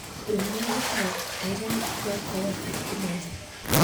wĩ mwega gĩtaũ eheria mĩbango yakwa yothe ya ũmũthĩ